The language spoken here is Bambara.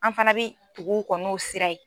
An fana bɛ tugu u kɔ n'o sira ye.